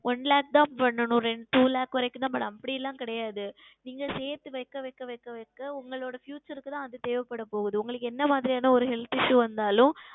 One Lakh தான் செய்யனும் Two Lakh வரைக்கும் தான் செய்யனும் அப்படி எல்லாம் கிடையாது நீங்கள் சேர்த்து வைக்க வைக்க வைக்க உங்களுடைய Future க்கு தான் அது தேவை படப்போகிறது உங்களுக்கு எந்த மாதிரியான ஓர் Health Issue வந்தாலும்